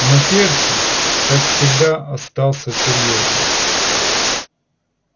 но перси как всегда остался серьёзным